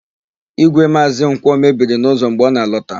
Ígwè Maazị Nkwọ mebiri n'ụzọ mgbe ọ na-alọta.